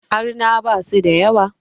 Arna basu da yawa